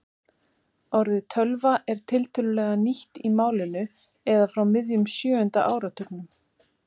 Orðið tölva er tiltölulega nýtt í málinu eða frá miðjum sjöunda áratugnum.